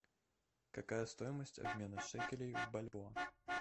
какая стоимость обмена шекелей в бальбоа